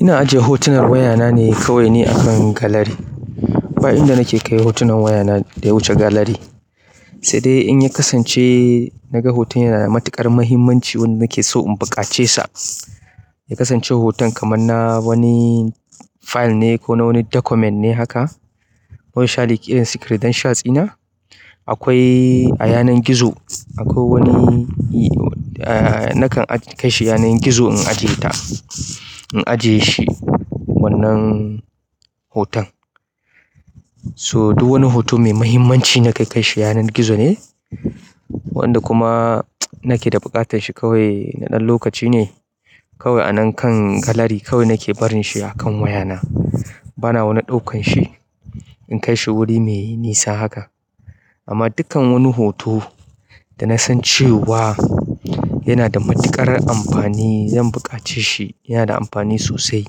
Ina ajiye hotunan wayana ne kawai ne akan galari. Bayan da nake kai hotunan wayana da ya wuce galari, sai dai in ya kasance naga hoton yana da matuƙar muhimmanci wanda nake so in buƙace sa. Ya kasance hoton kamar na wani file ne ko na wani document ne haka, wani sha dayake credential ɗina. Akwai a yanar gizo akwai wani nakan aji kai shi yanar gizo na ajiye ta in ajiye shi wannan hotan so duk wani hoto mai muhimmanci na kai kai shi yanar gizo ne, wanda kuma nake da buƙatar shi kawai na ɗan lokaci ne, kawai a nan kan galari kawai nake barin shi a kan wayana. Bana wani ɗaukan shi in kai shi wuri mai nisa haka. Amma dukkan wani hoto da na san cewa yana da matuƙar amfani, zan buƙace shi, yana da amfani sosai,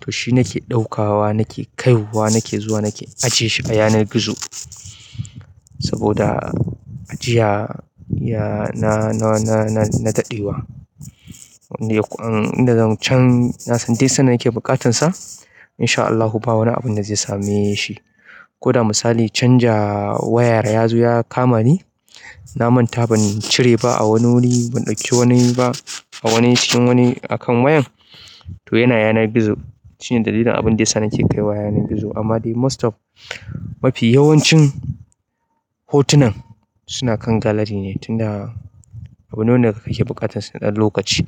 to shi nake ɗaukawa, nake kaiwa, nake zuwa nake ajiye shi a yanar gizo. Saboda ajiya ya na na na daɗewa. Inda zan can, na san dai duk sanda nake buƙatansa in sha Allahu ba wani abun da zai same shi. Ko da misali canja waya ya zo ya kama ni, na manta ban cire ba a wani wuri, ban ɗauki wani ba a wani cikin wani a kan wayan, to yana yanar gizo. Shine dalilin abin da yasa nake kaiwa yanar gizo. Amma dai most of mafi yawancin hotunan suna kan galari ne tun da abune wanda kake buƙatan sa na ɗan lokaci.